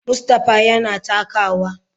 Mustapha yana takawa.